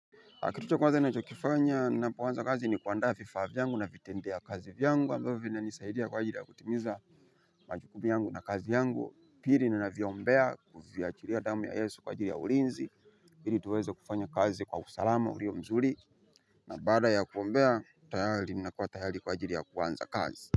Na kitu cha kwaza ninachokifanya ninapoanza kazi ni kuandaa vifaa vyangu na vitendea kazi vyangu ambavyo vinanisaidia kwaajili ya kutimiza majukumu yangu na kazi yangu, pili ninaviombea kuviachilia damu ya yesu kwaajili ya ulinzi ili tuweza kufanya kazi kwa usalama ulio mzuri. Na baada ya kuombea tayari ninapata hali kwaajili ya kuanza kazi.